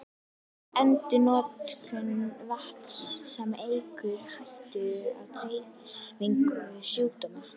Endurnotkun vatns, sem eykur hættuna á dreifingu sjúkdóma.